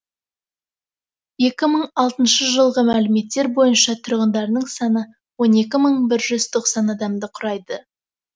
екі мың алтыншы жылғы мәліметтер бойынша тұрғындарының саны он екі мың бір жүз тоқсан адамды құрайды